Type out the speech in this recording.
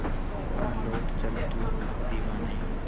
आ लौट चल तू अब दीवाने